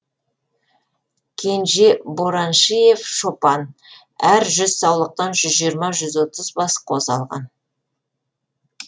кенже бораншиев шопан әр жүз саулықтан жүз жиырма жүз отыз бас қозы алған